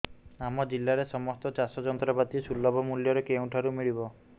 ଆମ ଜିଲ୍ଲାରେ ସମସ୍ତ ଚାଷ ଯନ୍ତ୍ରପାତି ସୁଲଭ ମୁଲ୍ଯରେ କେଉଁଠାରୁ ମିଳିବ